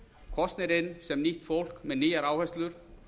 kosnir inn sem nýtt fólk með nýjar áherslur